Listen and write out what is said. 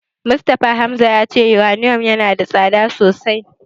Mustapha Hamza ya ce Yuraniyom yana da tsada sosai.